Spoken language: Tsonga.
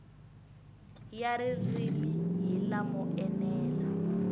ya ririmi hi lamo enela